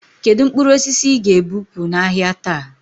Kedụ mkpụrụ osisi ị ga e bupu n'ahia taa?